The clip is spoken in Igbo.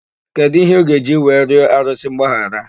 Kedụ íhé ọ ga-eji wee rịọ arụsị mgbaghara?